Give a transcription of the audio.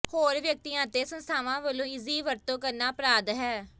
ਹੋਰ ਵਿਅਕਤੀਆਂ ਅਤੇ ਸੰਸਥਾਵਾਂ ਵੱਲੋਂ ਇਸਦੀ ਵਰਤੋਂ ਕਰਨਾ ਅਪਰਾਧ ਹੈ